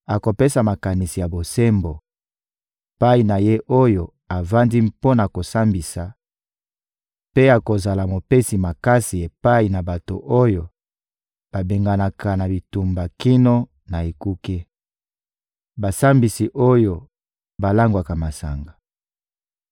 akopesa makanisi ya bosembo epai na ye oyo avandi mpo na kosambisa, mpe akozala mopesi makasi epai na bato oyo babenganaka na bitumba kino na ekuke. Basambisi oyo balangwaka masanga